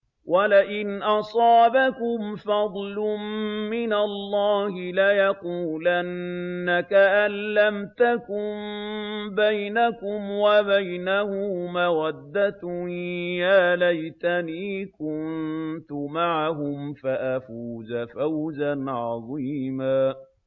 وَلَئِنْ أَصَابَكُمْ فَضْلٌ مِّنَ اللَّهِ لَيَقُولَنَّ كَأَن لَّمْ تَكُن بَيْنَكُمْ وَبَيْنَهُ مَوَدَّةٌ يَا لَيْتَنِي كُنتُ مَعَهُمْ فَأَفُوزَ فَوْزًا عَظِيمًا